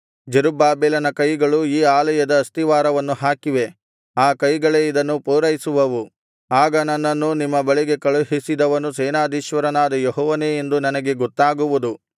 ಜೆರುಬ್ಬಾಬೆಲನ ಕೈಗಳು ಈ ಆಲಯದ ಅಸ್ತಿವಾರವನ್ನು ಹಾಕಿವೆ ಆ ಕೈಗಳೇ ಇದನ್ನು ಪೂರೈಸುವವು ಆಗ ನನ್ನನ್ನು ನಿಮ್ಮ ಬಳಿಗೆ ಕಳುಹಿಸಿದವನು ಸೇನಾಧೀಶ್ವರನಾದ ಯೆಹೋವನೇ ಎಂದು ನನಗೆ ಗೊತ್ತಾಗುವುದು